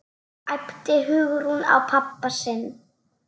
æpti Hugrún á pabba sinn.